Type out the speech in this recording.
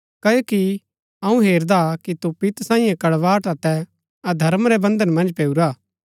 क्ओकि अऊँ हेरदा कि तू पित्त सांईये कड़वाहट अतै अधर्म रै बन्धन मन्ज पैऊरा हा